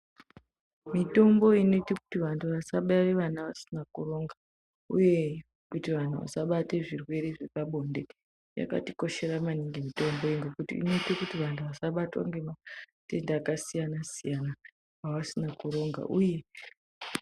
Mitombo inoite kuti vantu vasabare vana vasina kuronga uye kuti vantu vasabata zvirwere zvepabonde yakatikoshera maningi mitomboyo ngekuti inoite kuti vantu vasabatwe ngematenda akasiyana siyana avasina kuronga uye.